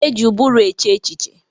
E ji ụbụrụ eche echiche.